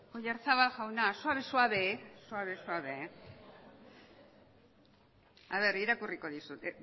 oyarzabal jaunak suave suave irakurriko dizut